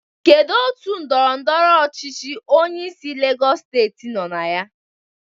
Kedu otu ndọrọ ndọrọ ọchịchị onyeisi Legọs steeti nọ na ya?